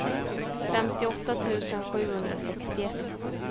femtioåtta tusen sjuhundrasextioett